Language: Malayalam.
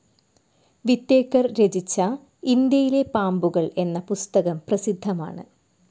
വിറ്റേക്കർ രചിച്ച ഇന്ത്യയിലെ പാമ്പുകൾ എന്ന പുസ്തകം പ്രസിദ്ധമാണ്.